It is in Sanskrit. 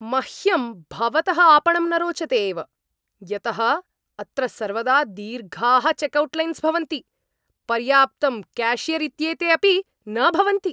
मह्यं भवतः आपणं न रोचते एव यतः अत्र सर्वदा दीर्घाः चेक्औट्लैन्स् भवन्ति, पर्याप्तं क्याशियर् इत्येते अपि न भवन्ति।